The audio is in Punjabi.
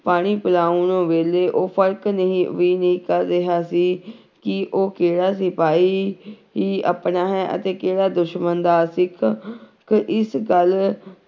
ਪਾਣੀ ਪਿਲਾਉਣ ਵੇਲੇ ਉਹ ਫ਼ਰਕ ਨਹੀਂ ਵੀ ਨਹੀਂ ਕਰ ਰਿਹਾ ਸੀ ਕਿ ਉਹ ਕਿਹੜਾ ਸਿਪਾਹੀ ਹੀ ਆਪਣਾ ਹੈ ਅਤੇ ਕਿਹੜਾ ਦੁਸ਼ਮਣ ਦਾ ਸਿੱਖ ਖ ਇਸ ਗੱਲ